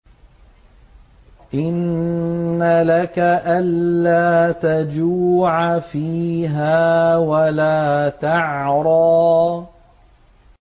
إِنَّ لَكَ أَلَّا تَجُوعَ فِيهَا وَلَا تَعْرَىٰ